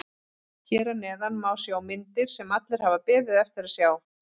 Hér að neðan má sjá myndir sem allir hafa beðið eftir að sjá.